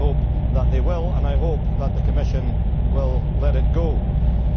I hope that they will, and I hope that the Commission will let it go through.